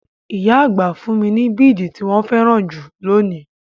Ìyá àgbà fún mi bidi tí wọn féràn jù lónìí.